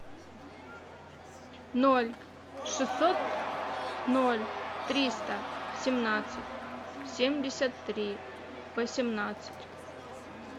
ноль шестьсот ноль триста семнадцать семьдесят три восемнадцать